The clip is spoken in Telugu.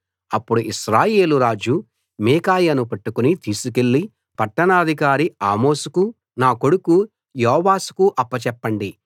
అప్పుడు ఇశ్రాయేలు రాజు మీకాయాను పట్టుకుని తీసికెళ్లి పట్టాణాధికారి ఆమోనుకూ నా కొడుకు యోవాషుకూ అప్పచెప్పండి